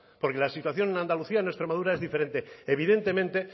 porque la situación en andalucía en extremadura es diferente evidentemente